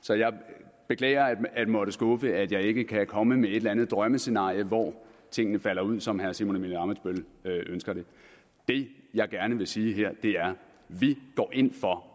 så jeg beklager at måtte skuffe med at jeg ikke kan komme med et eller andet drømmescenarie hvor tingene falder ud som herre simon emil ammitzbøll ønsker det det jeg gerne vil sige her er vi går ind for